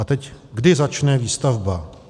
A teď kdy začne výstavba.